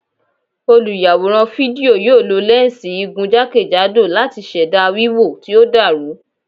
Olùyàwòrán fídíò yóò lo lẹ́ǹsì igun jákèjádò láti ṣẹ̀dá wíwò tí ó dàrú.